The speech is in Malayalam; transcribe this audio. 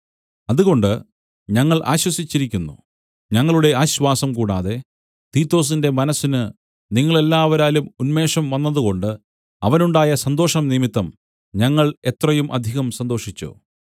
അതുകൊണ്ട് ഞങ്ങൾ ആശ്വസിച്ചിരിക്കുന്നു ഞങ്ങളുടെ ആശ്വാസം കൂടാതെ തീത്തൊസിന്‍റെ മനസ്സിന് നിങ്ങളെല്ലാവരാലും ഉന്മേഷം വന്നതുകൊണ്ട് അവനുണ്ടായ സന്തോഷംനിമിത്തം ഞങ്ങൾ എത്രയും അധികം സന്തോഷിച്ചു